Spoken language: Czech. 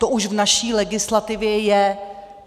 To už v naší legislativě je.